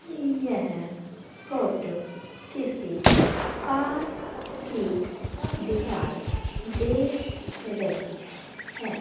यह फोटो किसी पार्क की दिखाई दे रही है।